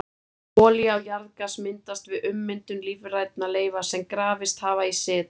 Olía og jarðgas myndast við ummyndun lífrænna leifa sem grafist hafa í seti.